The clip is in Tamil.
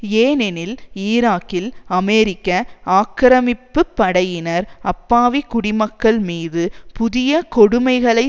ஏனெனில் ஈராக்கில் அமெரிக்க ஆக்கிரமிப்பு படையினர் அப்பாவி குடிமக்கள் மீது புதிய கொடுமைகளை